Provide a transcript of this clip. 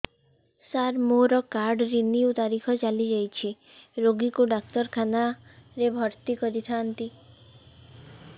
ସାର ମୋର card renew ତାରିଖ ଚାଲି ଯାଇଛି ରୋଗୀକୁ ଡାକ୍ତରଖାନା ରେ ଭର୍ତି କରିଥାନ୍ତି